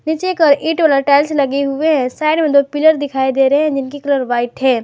नीचे एक ईट वाला टाइल्स लगे हुए हैं साईड में दो पीलर दिखाई दे रहे हैं जिनकी कलर व्हाइट हैं।